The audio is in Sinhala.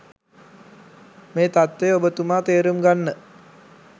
මේ තත්ත්වය ඔබතුමා තේරුම් ගන්න.